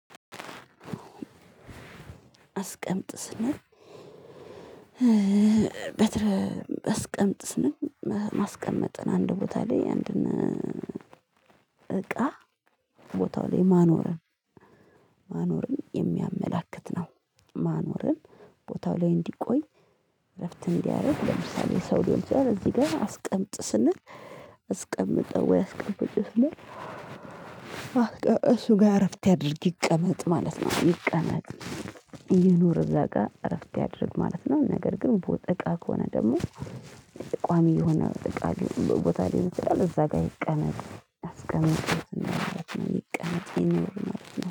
አስቀምጥ ስንል በትረ አስቀምጥ ስንል ማስቀመጥን አንድ ቦታ ላይ አንድን እቃ ቦታው ላይ ማኖርን ማኖርን የሚያመላክት ነው ማኖርን ቦታው ላይ እንዲቆይ እረፍት እንዲያደርግ ለምሳሌ ሰው ሊሆን ይችላል። እዚህ ጋር አስቀምጥ ስንል አስቀምጠው ወይ አስቀምጪው ስንል እሱ ጋር እረፍት ያድርግ ይቀመጥ ማለት ነው። ይቀመጥ ይኑር እዛ ጋር እረፍት ያድርግ ማለት ነው። ነገር ግን ቦ እቃ ከሆነ ደግሞ ቋሚ የሆነ እቃ ቦታ ላይ ይችላል እዛ ጋር ይቀመጥ አስቀምጡት ነው ቀን ይቀመጥ ማለት ነው